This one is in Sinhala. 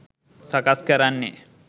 සකස් කරන්නෙ.